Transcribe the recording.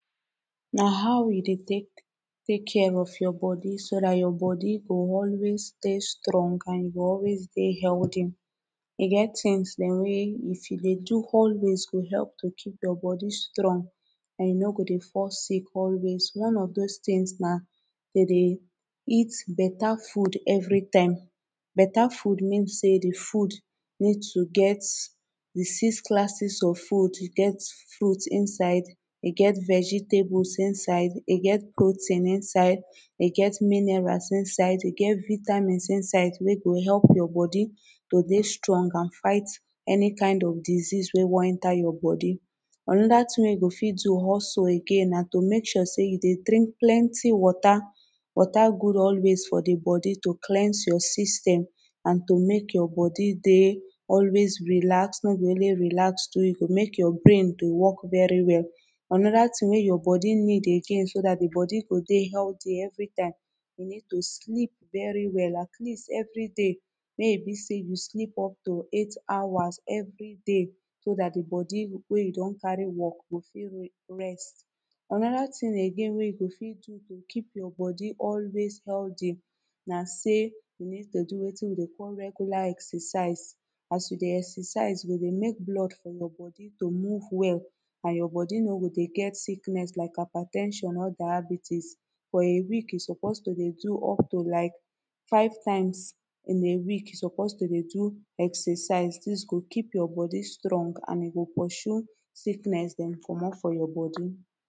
Na how we dey tek take care of your body so dat your body go always stay strong and e go always dey healty e get tins dem wey if you dey do always go help to keep your body strong and you no go dey fall sick always one of this things na to dey eat beta food every time. Beta food mean say the food need to get di six classes of food e get fruit inside e get vegetables inside e get protein inside e get minerals inside e get vitamins inside wey go help your body to dey strong and fight any kind of disease wey wan enter your body anoda tin wey you go fit do hustle again na to make sure say you dey drink plenty water. Water good always for the body to cleanse your system an to mek your body dey always relaxed no be only relax too e go make your brain to work very well another tin wey your body need again so that the body go dey healthy every time you need to sleep very well at least everyday make e be say you sleep up to eight hours everyday so dat di body wey you don carry work go fit rest anoda tin again wey you go fit do you keep your body always healthy na say you need to do wetin we dey call regular exercise as you dey exercise you go dey make blood for your body to move well and your body no go dey get sickness like hyper ten sion or diabetes for a week you suppose to dey do up to like five times in a week you suppose to dey do exercise dis go keep your body strong and e go pursue sickness dem comot for your body